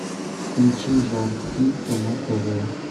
включи жар птица на тв